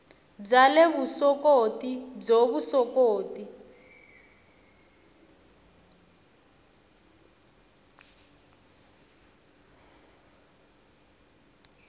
bya le vuswikoti byo vuswikoti